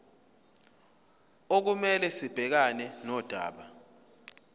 okumele sibhekane nodaba